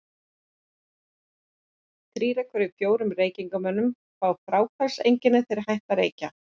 Þrír af hverjum fjórum reykingamönnum fá fráhvarfseinkenni, þegar þeir hætta að reykja.